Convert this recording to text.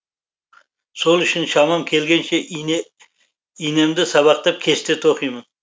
сол үшін шамам келгенше инемді сабақтап кесте тоқимын